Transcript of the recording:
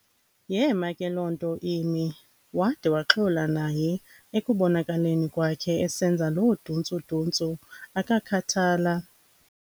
Yeema ke loo nto imi, wade waxola naye ekubonakaleni kwakhe esenza loo duntsu-duntsu akakhathala.